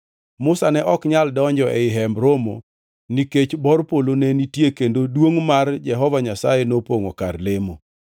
Musa ne ok nyal donjo ei Hemb Romo nikech bor polo ne nitie kendo duongʼ mar Jehova Nyasaye nopongʼo kar lemo.